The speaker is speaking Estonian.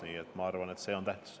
Nii et ma arvan, et see on tähtis.